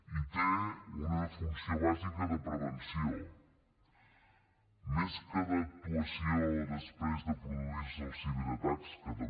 i té una funció bàsica de prevenció més que d’actuació després de produir se els ciberatacs que també